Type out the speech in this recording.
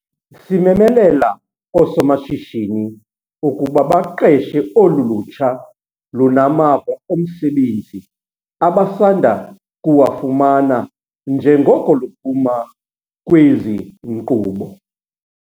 Simemelela oosomashishini ukuba baqeshe olu lutsha lunamava omsebenzi abasanda kuwafumana njengoko luphuma kwezi nkqubo.